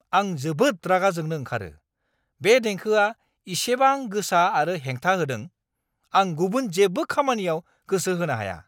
आं जोबोद रागा जोंनो ओंखारो, बे देंखोआ इसेबां गोसा आरो हेंथा होदों! आं गुबुन जेबो खामानियाव गोसो होनो हाया।